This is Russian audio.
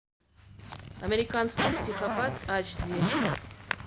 американский психопат айч ди